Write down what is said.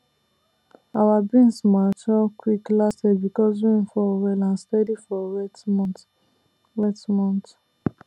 our beans mature quick last year because rain fall well and steady for wet months wet months